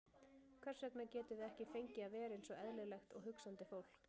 Hvers vegna getum við ekki fengið að vera einsog eðlilegt og hugsandi fólk?